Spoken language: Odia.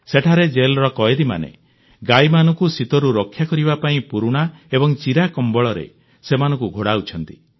ସେଠାରେ ଜେଲର କଏଦୀମାନେ ଗାଈମାନଙ୍କୁ ଶୀତରୁ ରକ୍ଷା କରିବା ପାଇଁ ପୁରୁଣା ଏବଂ ଚିରା କମ୍ବଳରେ ସେମାନଙ୍କୁ ଘୋଡାଉଛନ୍ତି